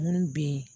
Munnu be ye